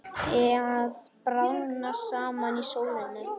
Að bráðna saman í sólinni